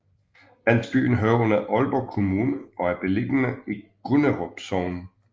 Landsbyen hører under Aalborg Kommune og er beliggende i Gunderup Sogn